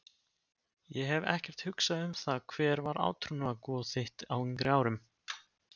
Ég hef ekkert hugsað um það Hver var átrúnaðargoð þitt á yngri árum?